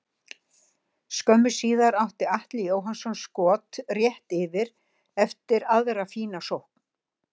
Skömmu síðar átti Atli Jóhannsson skot rétt yfir eftir aðra fína sókn.